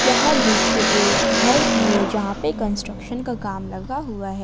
यह दृश्य एक घर की है जहां पे कंस्ट्रक्शन का काम लगा हुआ है।